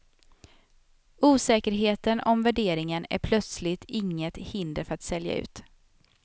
Osäkerheten om värderingen är plötsligt inget hinder för att sälja ut.